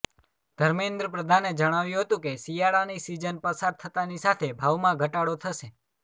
ધર્મેન્દ્ર પ્રધાને જણાવ્યું હતું કે શિયાળાની સીઝન પસાર થતાંની સાથે ભાવમાં ઘટાડો થશે